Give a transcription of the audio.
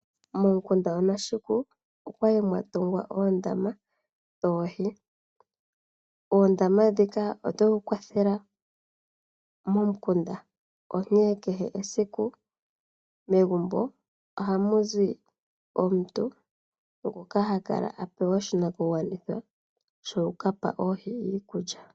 Momukunda Oneshuku okwa li mwatungwa oondama dhoohi. Oondama ndhika ohadhi vulu okukwathelwa momukunda onkene kehe esiku megumbo ohamu zi omuntu ngoka hakala apewa oshinakugwanithwa shokukapa oohi iikulya.